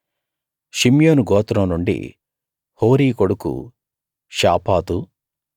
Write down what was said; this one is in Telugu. షిమ్యోను గోత్రం నుండి హోరీ కొడుకు షాపాతు